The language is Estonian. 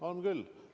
On küll!